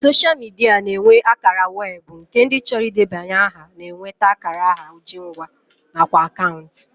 Soshal midia na-enwe akara weebụ nke ndị chọrọ idebanye aha na-enweta akara aha ojingwa nakwa akaụntụ